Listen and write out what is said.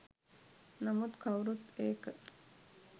නමුත් කවුරුත් ඒක